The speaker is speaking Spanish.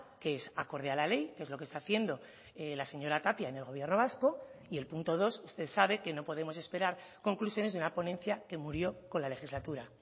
que es acorde a la ley que es lo que está haciendo la señora tapia en el gobierno vasco y el punto dos usted sabe que no podemos esperar conclusiones de una ponencia que murió con la legislatura